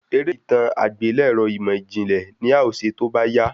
Eré itan agbelẹrọ imọijinlẹ ni a ọ ṣe tóbá yá